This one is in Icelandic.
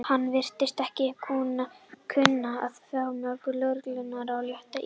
Hann virtist ekki kunna vel við faðmlög lögreglunnar og lét illa.